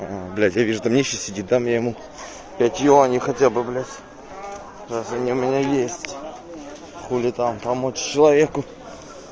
аа блять я вижу там нищий сидит дам я ему пять юаней хотя бы блять если они у нас есть хули там помочь человеку